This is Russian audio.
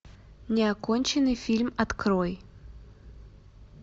неоконченный фильм открой